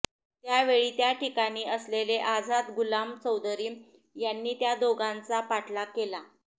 त्या वेळी त्या ठिकाणी असलेले आझाद गुलाम चौधरी यांनी त्या दोघांचा पाठलाग केला